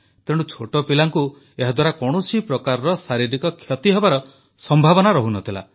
ତେଣୁ ଛୋଟ ପିଲାଙ୍କୁ ଏହାଦ୍ୱାରା କୌଣସି ପ୍ରକାର ଶାରୀରିକ କ୍ଷତି ହେବାର ସମ୍ଭାବନା ରହୁ ନ ଥିଲା